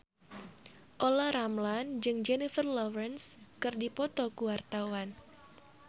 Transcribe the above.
Olla Ramlan jeung Jennifer Lawrence keur dipoto ku wartawan